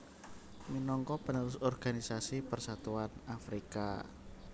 minangka penerus Organisasi Persatuan Afrika